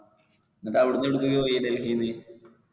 എന്നിട്ട് അവിടെന്ന് എവിടേക്ക് പോയി ഡെൽഹിന്ന്.